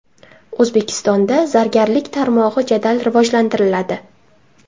O‘zbekistonda zargarlik tarmog‘i jadal rivojlantiriladi.